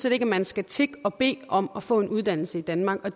ikke at man skal tigge og bede om at få en uddannelse i danmark